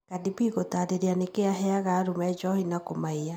Cardi B gũtarĩria nĩkĩ aheaga arũme njohi na kũmaiya.